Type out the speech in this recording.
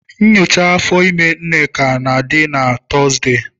Nyocha afọ ime Nneka na-adị na Tọzdee.